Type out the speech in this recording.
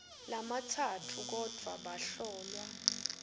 lamatsatfu kodvwa bahlolwa